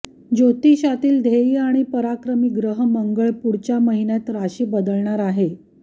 ज्योतिषातील ध्येय आणि पराक्रमी ग्रह मंगळ पुढच्या महिन्यात राशीबदलणार आहे